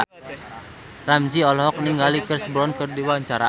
Ramzy olohok ningali Chris Brown keur diwawancara